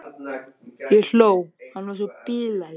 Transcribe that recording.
Ég hló, hann var svo bilaður.